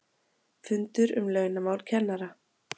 FUNDUR UM LAUNAMÁL KENNARA